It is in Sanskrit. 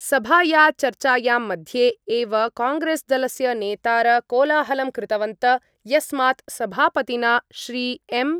सभाया चर्चायां मध्ये एव कांग्रेस्दलस्य नेतार कोलाहलं कृतवन्त यस्मात् सभापतिना श्रीएम् .